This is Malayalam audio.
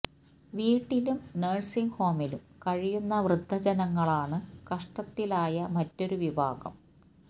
വീട്ടിലും നഴ്സിംഗ് ഹോമിലും കഴിയുന്ന വൃദ്ധ ജനങ്ങളാണ് കഷ്ടത്തിൽ ആയ മറ്റൊരു വിഭാഗം